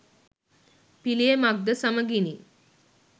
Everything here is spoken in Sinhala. පිළියමක් ද සමඟිනි